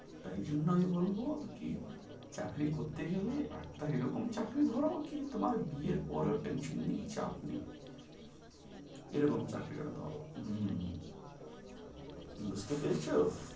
তাই জন্য আমি বলবো কি চাকরি করতে গেলে একটা এ রকম চাকরি ধরা কি তোমার বিয়ে পরেও টেনশন নেই, চাপ নেই। এ রকম চাকরি , বুঝতে পেরেছো?